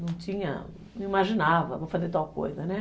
Não tinha, não imaginava, vou fazer tal coisa, né?